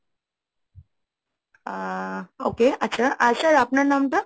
আহ okay আচ্ছা আর sir আপনার নামটা?